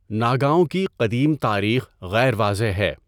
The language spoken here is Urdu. ناگاوں کی قدیم تاریخ غیر واضح ہے۔